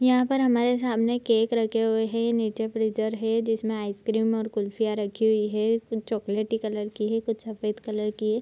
यहां पर हमारे सामने केक रखे हुए है नीचे फ्रीजर है जिसमे आइसक्रीम और कुल्फिया रखे हुई है कुछ चॉकलेटी कलर की है कुछ सफेद कलर की है।